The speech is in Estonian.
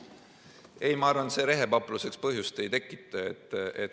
Ei, ma arvan, et see rehepapluseks põhjust ei anna.